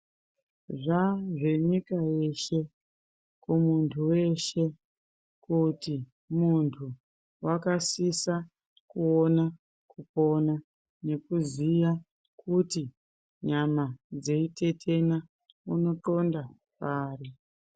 Zvaa zvenyika yeshe kumuntu weshe kuti muntu wakasisa kuona kuona nekuziya kuti nyama dzeiteena unoxonda pari.